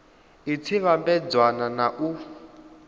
i tshi vhambedzwa na u